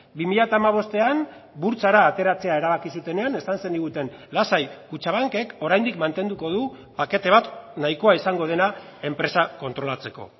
bi mila hamabostean burtsara ateratzea erabaki zutenean esan zeniguten lasai kutxabankek oraindik mantenduko du pakete bat nahikoa izango dena enpresa kontrolatzeko